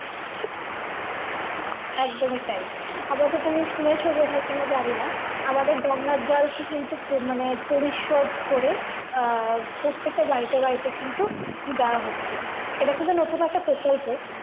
একদমই তাই আপতত তুমি শুনেছ বোধহয় কিনা জানি না আমাদের গঙ্গার জলকে কিন্তু খুব মানে পরিশোধ করে আহ প্রত্যেকটা বাড়িতে বাড়িতে কিন্তু দাওয়া হচ্ছে এটা কিন্তু নতুন একটা প্রকল্প